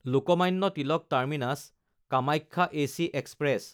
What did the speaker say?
Lokmanya Tilak টাৰ্মিনাছ–কামাখ্যা AC express